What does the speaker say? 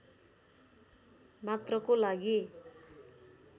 मात्रको लागि